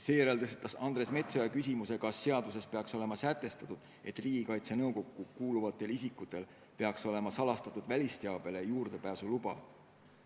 Seejärel tõstatas Andres Metsoja küsimuse, kas seaduses peaks olema sätestatud, et Riigikaitse Nõukokku kuuluvatel isikutel peaks olema salastatud välisteabele juurdepääsu luba.